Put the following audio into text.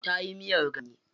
Tayi miyar ganye.